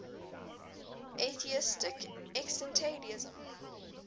atheistic existentialism